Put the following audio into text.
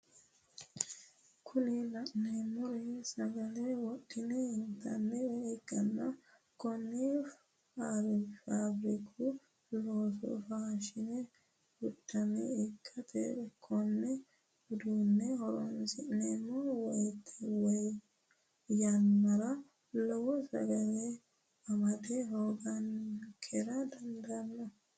Kuni la'neemori sagale wodhine intannire ikkanna konne faafiriku loose fushshanno uduune ikkanna kone uduunne horonsi'neemo yannara lowo sagale amada hoogankera dandaanno.